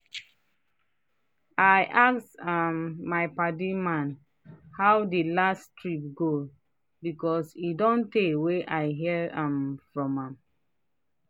i ask um my padi man how the last trip go because e don tey wey i hear um from am.